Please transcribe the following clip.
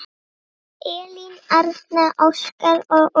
Elín Arna, Óskar og Úlfur.